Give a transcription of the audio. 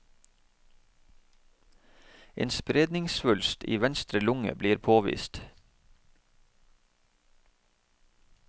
En spredningssvulst i venstre lunge blir påvist.